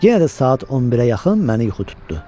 Yenə də saat 11-ə yaxın məni yuxu tutdu.